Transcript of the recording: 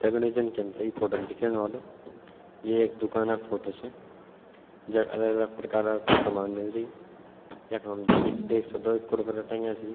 दगडियों जन की हमथे यि फोटो म दिख्येण वालो ये एक दूकाना फोटो च जख अलग अलग प्रकारा क सामान मिलदी यखम द दि देख सक्दो कुरकुरा टंग्या छी।